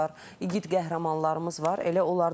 Şəhidlərimiz var, igid qəhrəmanlarımız var.